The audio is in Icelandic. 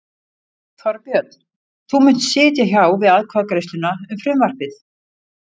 Þorbjörn: Þú munt sitja hjá við atkvæðagreiðsluna um frumvarpið?